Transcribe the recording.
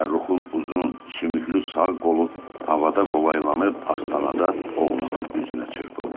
Fəxrruxun uzun sümüklü sağ qolu havada qolayıb, astanada oğlanın üzünə çırpıldı.